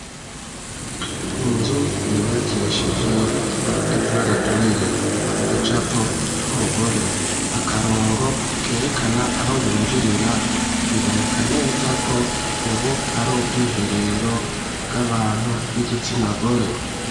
Inzu yubakishije Amatafaraturiye, igicapo c'Umugore akarongo kerekana aho binjirira, biboneka neza ko ubu ari Ubwiherero bw'Abantu b'Igitsinagore.